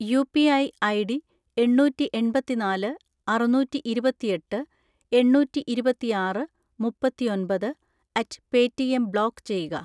UPI ID എണ്ണൂറ്റിഎൺപത്തിനാല് അറുന്നൂറ്റിഇരുപത്തിയെട്ട് എണ്ണൂറ്റിഇരുപത്തിആറ് മുപ്പത്തിയൊമ്പത് അറ്റ് പേറ്റിഎം ബ്ലോക്ക് ചെയ്യുക.